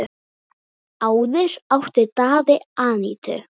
Áður átti Daði Anítu.